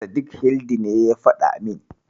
Sadik Hildi ne ya faɗa min.